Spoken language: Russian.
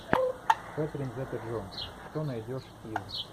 кэтрин зета джонс что найдешь из